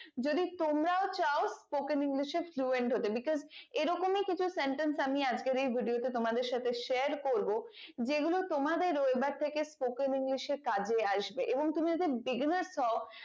যদি তোমরাও চাও spoken english এ fluent হতে because এ রকমই কিছু sentence আমি আজকের এই video তে তোমাদের সাথে share করবো যে গুলো তোমাদের waiver থেকে spoken english এ কাজে আসবে এবং তুমি যদি bigness হও